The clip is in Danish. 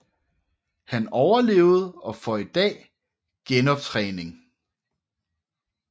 Han overlevede og får i dag genoptræning